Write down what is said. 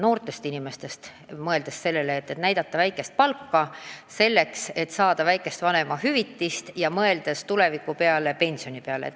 Noortele inimestele on vanemahüvitis tähtis ja nad mõtlevad ka tuleviku peale, pensioni peale.